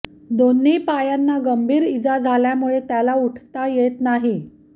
दोन्ही पायांना गंभीर इजा झाल्यामुळे त्याला उठता येत नाही